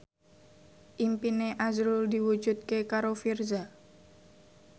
impine azrul diwujudke karo Virzha